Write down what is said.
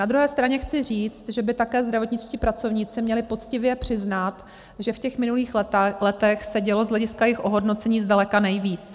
Na druhé straně chci říct, že by také zdravotničtí pracovníci měli poctivě přiznat, že v těch minulých letech se dělo z hlediska jejich ohodnocení zdaleka nejvíc.